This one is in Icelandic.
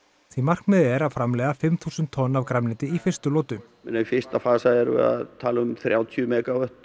því markmiðið er að framleiða fimm þúsund tonn af grænmeti í fyrstu lotu í fyrsta fasa erum við að tala um þrjátíu megavött